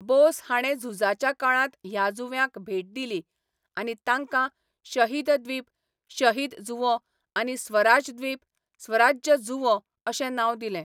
बोस हाणें झुजाच्या काळांत ह्या जुंव्यांक भेट दिली आनी तांकां शहीद द्वीप शहीद जुंवो आनी स्वराज द्वीप स्वराज्य जुंवो अशें नांव दिलें.